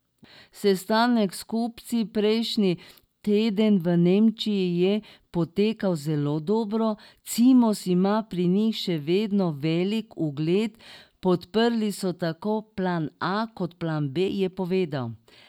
Sestanek s kupci prejšnji teden v Nemčiji je potekal zelo dobro, Cimos ima pri njih še vedno velik ugled, podprli so tako plan A kot plan B, je povedal.